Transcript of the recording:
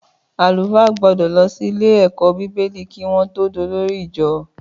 Àlúfà gbọdọ lọ si ìlé ẹkọ bíbélì ki won tọ dọlòrí ìjọ